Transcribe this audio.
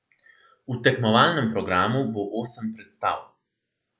V tekmovalnem programu bo osem predstav.